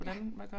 Ja